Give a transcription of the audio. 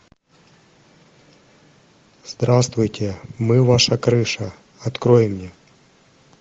здравствуйте мы ваша крыша открой мне